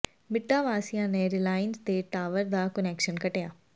ਮਿੱਡਾ ਵਾਸੀਆਂ ਨੇ ਰਿਲਾਇੰਸ ਦੇ ਟਾਵਰ ਦਾ ਕੁਨੈਕਸ਼ਨ ਕੱਟਿਆ